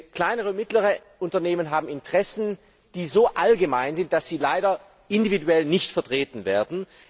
Denn kleine und mittlere Unternehmen haben Interessen, die so allgemein sind, dass sie leider individuell nicht vertreten werden.